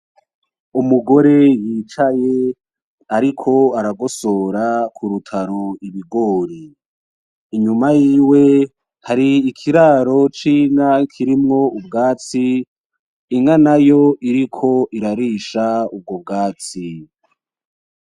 Umugore yicaye ariko aragosora kurutaro ibigori .Inyuma yiwe hari ikiraro c'inka kirimwo ubwatsi inka nayo iriko irarisha ubwo bwatsi.